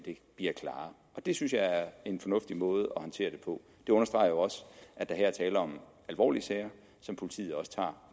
bliver klarere det synes jeg er en fornuftig måde at håndtere det på det understreger jo også at der her er tale om alvorlige sager som politiet også tager